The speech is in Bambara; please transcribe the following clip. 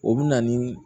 O bɛ na ni